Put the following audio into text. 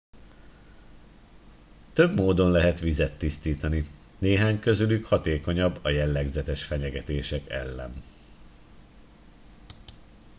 több módon lehet vizet tisztítani néhány közülük hatékonyabb a jellegzetes fenyegetések ellen